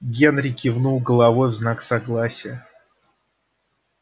генри кивнул головой в знак согласия